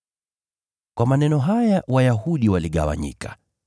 Kwa maneno haya Wayahudi waligawanyika.